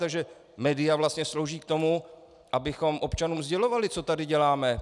Takže média vlastně slouží k tomu, abychom občanům sdělovali, co tady děláme.